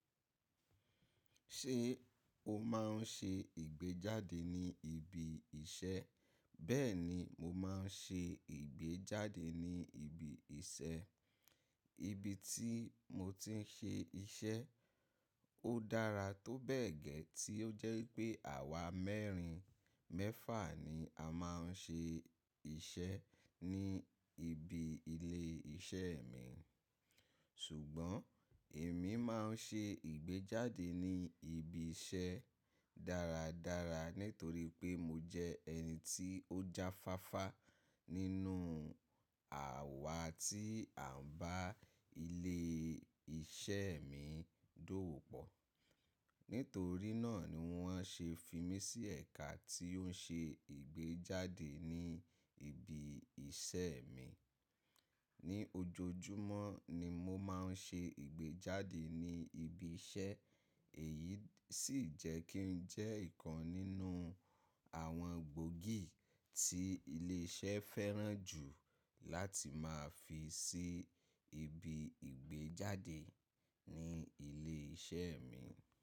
Ṣé o máa ń ṣe ìgbéjáde ní ibi iṣẹ́? Bẹ́ẹ̀ni, mo máa ń ṣe ìgbéjáde ní ibi iṣẹ́. Ibi tí mo ti ń ṣe iṣẹ́ ó dára tó bẹ́ẹ̀ gẹ́ tí ó jẹ́ wípé àwa mẹ́rin mẹ́fà ni a máa ń ṣe iṣẹ́ ní ibi ilé iṣẹ́ mi. Ṣùgbọ́n èmi máa ń ṣe ìgbéjáde ní ibi iṣẹ́ dáradára nítorí pé mo jẹ́ ẹni tí ó jáfáfá nínú àwa tí à ń bá ilé iṣẹ́ mi dówòpọ̀. Nítorí náà ni wọ́n ṣe fi mí sí ẹ̀ka tí ó ń ṣe ìgbéjáde ní ibi iṣẹ́ mi. Ni ojoojúmọ́ ni mo máa ń ṣe ìgbéjáde ní ibi iṣẹ́ èyí sì jẹ́ kí n jẹ́ ìkan nínú àwọn gbòógì tí ilé iṣẹ́ fẹ́ràn jù láti máa fi ṣi ibi ìgbéjáde ní ilé iṣẹ́ mi.